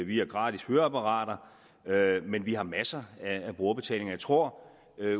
vi har gratis høreapparater men vi har masser af brugerbetaling og jeg tror